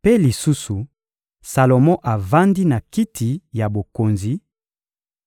Mpe lisusu, Salomo avandi na kiti ya bokonzi;